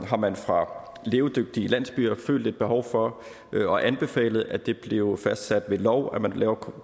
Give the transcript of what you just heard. har man fra levedygtige landsbyers følt et behov for og anbefalet at det bliver fastsat ved lov at man